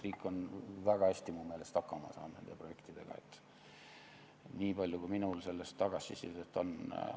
Riik on väga hästi minu meelest nende projektidega hakkama saanud, võin öelda selle põhjal, kui palju minul selle kohta tagasisidet on.